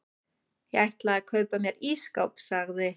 Ég ætla að kaupa mér ísskáp sagði